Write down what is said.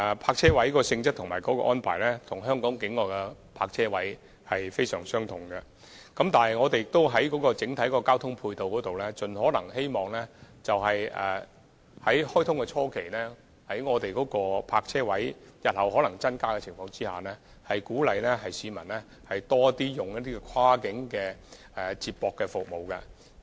泊車位的性質及安排，與香港境內的其他泊車位非常相同，但在整體交通配套方面，在大橋開通初期，當局希望在泊車位日後可能增加之餘，鼓勵市民更多使用跨境接駁服務。